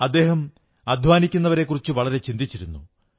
അദ്ദേഹം അധ്വാനിക്കുന്നവരെക്കുറിച്ച് വളരെ ചിന്തിച്ചിരുന്നു